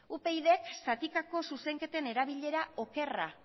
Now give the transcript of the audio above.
upydek zatikako zuzenketen erabilera okerra